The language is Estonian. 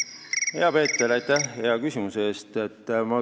Hea Peeter, aitäh hea küsimuse eest!